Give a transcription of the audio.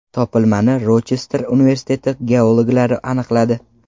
Topilmani Rochester universiteti geologlari aniqladi.